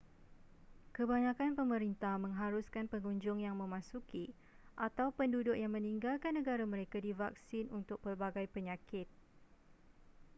kebanyakan pemerintah mengharuskan pengunjung yang memasuki atau penduduk yang meninggalkan negara mereka divaksin untuk pelbagai penyakit